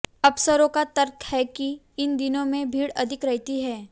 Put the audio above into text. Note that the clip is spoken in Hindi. अफसरों का तर्क है कि इन दिनों में भीड़ अधिक रहती है